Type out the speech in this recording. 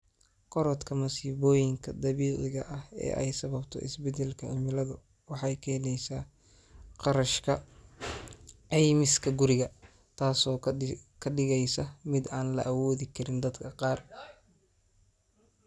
Korodhka masiibooyinka dabiiciga ah ee ay sababto isbeddelka cimiladu waxay keenaysaa kharashka caymiska guriga, taasoo ka dhigaysa mid aan la awoodi karin dadka qaar.